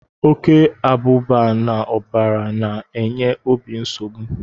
Oke abụba n'ọbara na-enye obi nsogbu.